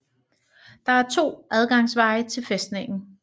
Det er to adgangsveje til fæstningen